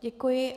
Děkuji.